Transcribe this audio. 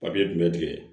Papiye jumɛn